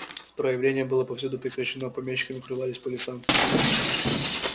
правление было повсюду прекращено помещики укрывались по лесам